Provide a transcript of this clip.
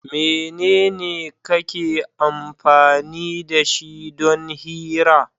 Mene kake amfani da shi don hira?